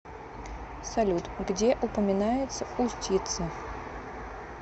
салют где упоминается устьице